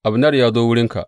Abner ya zo wurinka.